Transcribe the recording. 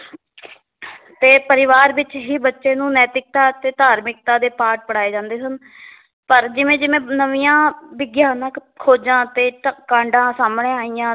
ਤੇ ਪਰਿਵਾਰ ਵਿੱਚ ਹੀ ਬੱਚੇ ਨੂੰ ਨੈਤਿਕਤਾ ਅਤੇ ਧਾਰਮਿਕਤਾ ਦੇ ਪਾਠ ਪੜ੍ਹਾਏ ਜਾਂਦੇ ਸਨ ਪਰ ਜਿਵੇਂ ਜਿਵੇਂ ਨਵੀਆਂ ਵਿਗਿਆਨਕ ਖੋਜਾਂ ਅਤੇ ਤਾਂ ਕਾਂਡਾਂ ਸਾਹਮਣੇ ਆਈਆਂ